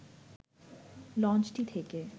লঞ্চটি থেকে